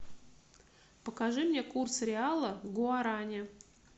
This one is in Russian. покажи мне курс реала гуарани